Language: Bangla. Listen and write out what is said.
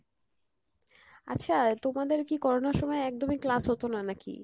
আচ্ছা তোমাদের কী Corona র সময়ে একদমই class হতো না নাকি?